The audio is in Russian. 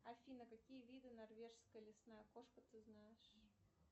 афина какие виды норвежская лесная кошка ты знаешь